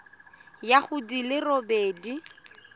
ya go di le robedi